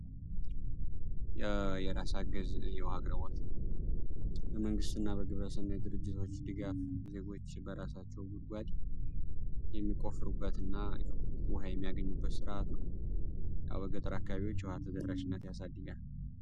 የራስ አገዝ የውሃ አቅርቦት በመንግስትና በግለሰብ እንዲሁም በድርጅቶች ድጋፍ ዜጎች በራሳቸው ጉድጓድ የሚቆፍሩበትና የሚያገኙበት ስርዓት ነው በገጠር አካባቢዎች የውሃ ተደራሽነትን ያሳድጋል።